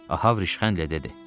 Ahav rişxəndlə dedi.